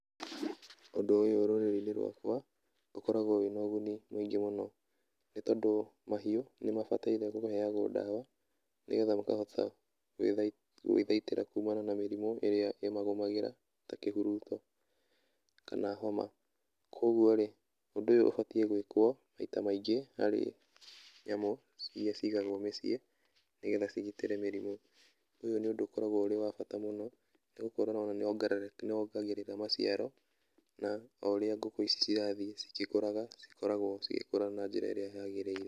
Ũndũ ũyũ rũrĩrĩ-ini rwaka ũkoragwo wĩna ũguni mũingĩ mũno, nĩ tondũ mahiũ ni mabataire kũheagwo dawa, ni getha makahota gwithai gwĩthaitĩra kumana na mĩrimu ĩrĩa ĩmagũmagĩra; ta kĩhuruto, kana homa. Kogwo rĩ, ũndũ ũyũ ũbatiĩ gwĩkwo maita maingĩ harĩ nyamũ iria cigagwo mĩciĩ nĩ getha cigitĩre mĩrimu. Ũyũ nĩ ũndũ ũkoragwo ũrĩ wa bata mũno, nĩgũkorwo ona nĩwongerere nĩwongagĩrĩra maciaro na o ũrĩa ngũkũ ici cirathiĩ cigĩkũraga, cikoragwo cigĩkũra na njĩra ĩrĩa yagĩrĩire.